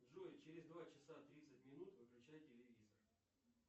джой через два часа тридцать минут выключай телевизор